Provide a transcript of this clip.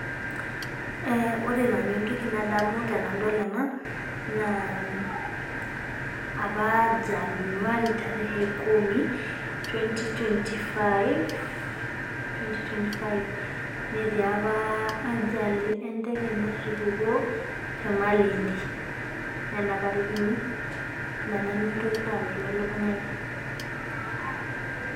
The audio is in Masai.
Ore nanu entoki nadamu tenadol ena naa opa januari tarehe kumi, twenty twenty five netii opa ajali enteke natupukuo te Malindi, nena tariki nanu entoki naalotu elukunyaai.